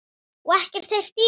Og ekkert heyrt í henni?